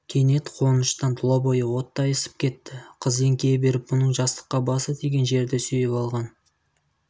кенет қуаныштан тұла бойы оттай ысып кетті қыз еңкейе беріп бұның жастыққа басы тиген жерді сүйіп алған